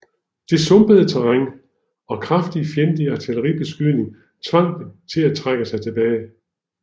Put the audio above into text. Det sumpede terræn og kraftig fjendtlig artilleribeskydning tvang dem til at trække sig tilbage